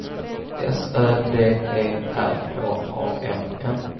S Ö D E R H A M N